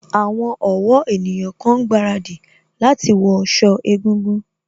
Àwọn ọ̀wọ́ ènìyàn kan ń gbaradì láti wọ sọ egúngún